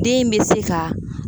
Den in bɛ se ka.